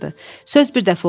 Söz bir dəfə olar.